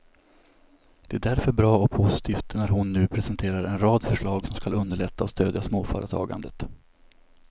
Det är därför bra och positivt när hon nu presenterar en rad förslag som skall underlätta och stödja småföretagandet.